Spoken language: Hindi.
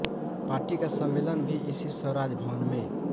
पार्टी का सम्मेलन भी इसी स्वाराज भवन में